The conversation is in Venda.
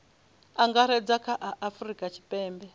angaredza kha a afurika tshipembe